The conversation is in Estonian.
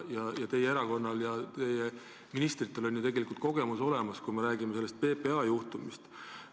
Ja teie erakonnal ja teie ministritel on ju samasugune kogemus juba olemas – ma pean silmas PPA juhtumit.